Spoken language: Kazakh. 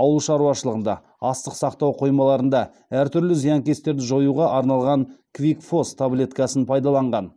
ауылшаруашылығында астық сақтау қоймаларында әртүрлі зиянкестерді жоюға арналған квикфос таблеткасын пайдаланған